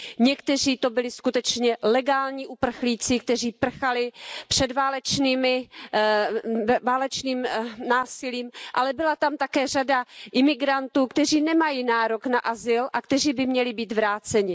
Někteří to byli skutečně legální uprchlíci, kteří prchali před válečným násilím, ale byla tam také řada imigrantů, kteří nemají nárok na azyl a kteří by měli být vráceni.